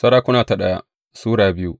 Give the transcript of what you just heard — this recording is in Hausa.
daya Sarakuna Sura biyu